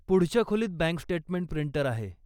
पुढच्या खोलीत bank statement printer आहे.